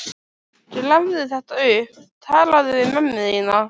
Grafðu þetta upp, talaðu við mömmu þína.